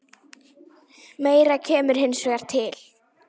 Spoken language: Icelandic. Meira kemur hins vegar til.